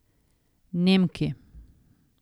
Nemki.